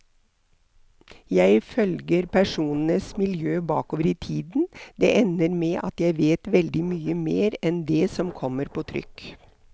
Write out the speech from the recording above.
Jeg følger personenes miljø bakover i tiden, det ender med at jeg vet veldig mye mer enn det som kommer på trykk.